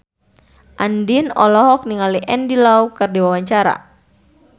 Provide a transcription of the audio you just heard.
Andien olohok ningali Andy Lau keur diwawancara